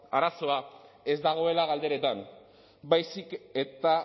arazoa ez dagoela galderetan baizik eta